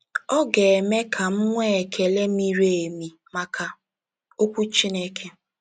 Ọ ga-eme ka m nwee ekele miri emi maka Okwu Chineke.